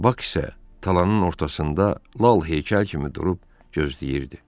Bak isə talanın ortasında lal heykəl kimi durub gözləyirdi.